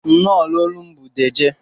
Nnọ na olum bu dejee.